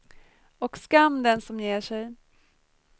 Och skam den som ger sig.